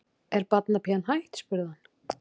Er barnapían hætt? spurði hann.